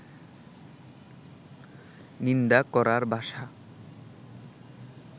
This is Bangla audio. নিন্দা করার ভাষা